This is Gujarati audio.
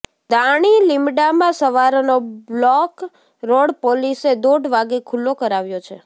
દાણીલીમડામાં સવારનો બ્લોક રોડ પોલીસે દોઢ વાગે ખુ્લ્લો કરાવ્યો છે